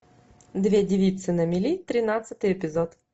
две девицы на мели тринадцатый эпизод